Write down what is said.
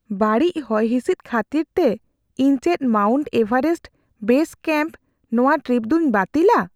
ᱵᱟᱹᱲᱤᱡ ᱦᱚᱭᱦᱤᱥᱤᱫ ᱠᱷᱟᱹᱛᱤᱨᱛᱮ , ᱤᱧ ᱪᱮᱫ ᱢᱟᱣᱩᱱᱴ ᱮᱵᱷᱟᱨᱮᱥᱴ ᱵᱮᱥ ᱠᱮᱹᱢᱯᱨᱮ ᱱᱚᱣᱟ ᱴᱨᱤᱯ ᱫᱩᱧ ᱵᱟᱹᱛᱤᱞᱟ ?